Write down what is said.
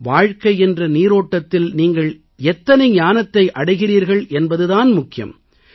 வாழ்க்கை என்ற நீரோட்டத்தில் நீங்கள் எத்தனை ஞானத்தை அடைகிறீர்கள் என்பது தான் முக்கியம்